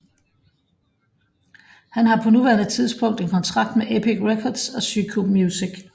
Han har på nuværende tidspunkt en kontrakt med Epic Records og Syco Music